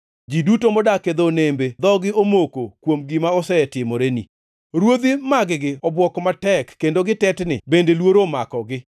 Ji duto modak e dho nembe dhogi omoko kuom gima osetimoreni; ruodhi mag-gi obwok matek kendo gitetni bende luoro omakogi.